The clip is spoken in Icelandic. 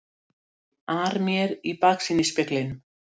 ar mér í baksýnisspeglinum.